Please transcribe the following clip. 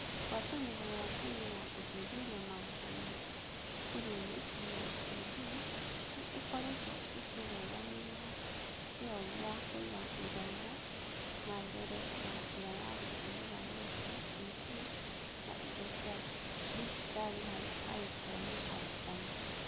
Ngwatanĩro ya Kenya ya Gũthuthuria Maũndũ ma Cukurunĩ (KICD) nĩ ĩkoretwo ĩkĩrũgamĩrĩra kĩyo gĩa kũiga gĩthomo na mbere na njĩra ya gũtũmĩra redio, TV, na indo cia digitali harĩ arutwo na arutani.